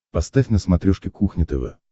поставь на смотрешке кухня тв